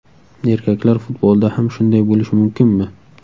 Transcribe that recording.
Erkaklar futbolida ham shunday bo‘lishi mumkinmi?